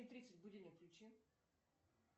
тридцать будильник включи